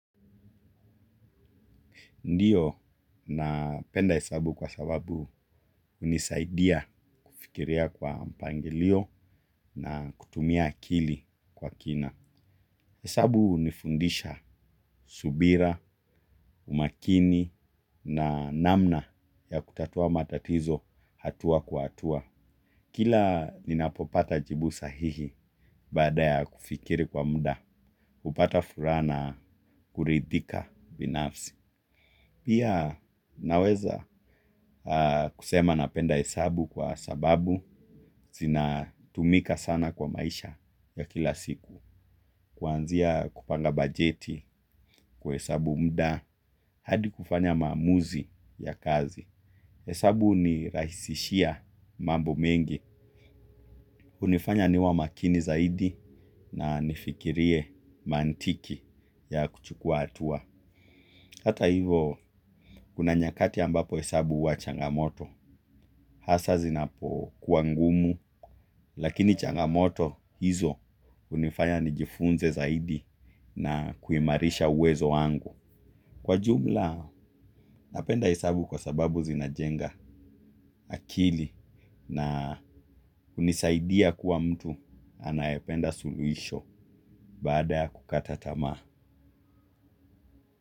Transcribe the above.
Ndiyo na penda hesabu kwa sababu hunisaidia kufikiria kwa mpangilio na kutumia akili kwa kina. Hesabu hunifundisha subira, umakini na namna ya kutatua matatizo hatua kwa hatua. Kila ninapopata jibu sahihi baada ya kufikiri kwa muda, hupata furaha na kuridhika binafsi. Pia naweza kusema napenda hesabu kwa sababu zina tumika sana kwa maisha ya kila siku. Kuanzia kupanga bajeti, kuhesabu muda, hadi kufanya maamuzi ya kazi. Hesabu huni rahisishia mambo mengi, hunifanya niwe makini zaidi na nifikirie mantiki ya kuchukua hatua. Hata hivo, kuna nyakati ambapo hesabu huwa changamoto, hasa zinapokuwa ngumu, lakini changamoto hizo hunifanya nijifunze zaidi na kuimarisha uwezo wangu. Kwa jumla, napenda hesabu kwa sababu zinajenga akili na hunisaidia kuwa mtu anayependa suluisho badala ya kukata tamaa.